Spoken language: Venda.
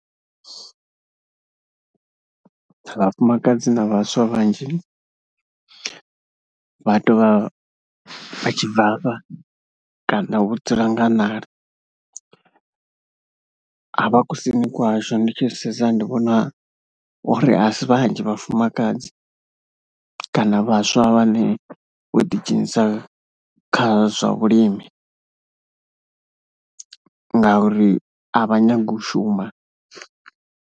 Vhafumakadzi na vhaswa vhanzhi vha tou vha vha tshi bvafha kana vho dzula nga ṋala, havha kusini kwashu ndi tshi sedza ndi vhona uri a si vhanzhi vhafumakadzi kana vhaswa vhane vho ḓidzhenisa kha zwa vhulimi ngauri a vha nyagi u shuma.